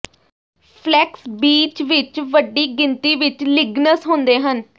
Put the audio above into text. flex ਬੀਜ ਵਿੱਚ ਵੱਡੀ ਗਿਣਤੀ ਵਿੱਚ ਲਿਗਨਸ ਹੁੰਦੇ ਹਨ